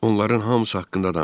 Onların hamısı haqqında danış.